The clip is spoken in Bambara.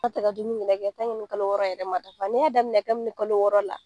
N'a tɛ ka dumuni min nɛ kɛ kalo wɔɔrɔ yɛrɛ ma dafa n'i y'a daminɛ kabini kalo wɔɔrɔ la